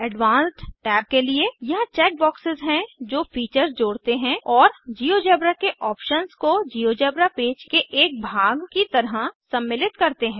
अब advanced tab के लिए यहाँ चेक बॉक्सेस हैं जो फीचर्स जोड़ते हैं और जिओजेब्रा के ऑप्शन्स को जिओजेब्रा पेज के एक भाग की तरह सम्मिलित करते हैं